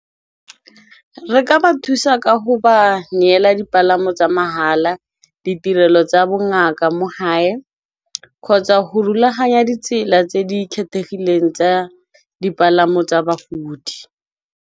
Re ka ba thusa ka go ba neela dipalamo tsa mahala, ditirelo tsa bongaka mo gae kgotsa go rulaganya ditsela tse di kgethegileng tsa dipalamo tsa bagodi.